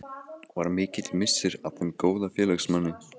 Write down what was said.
Ég er ekkert með ullarsokk, sagði Siggi gramur.